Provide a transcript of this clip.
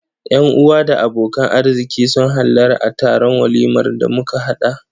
Yan-uwa da abokan arziƙi sun hallara a taron walimar da muka haɗa.